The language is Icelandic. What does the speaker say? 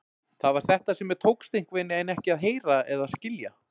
Það var þetta sem mér tókst einhvernveginn ekki að heyra eða skilja.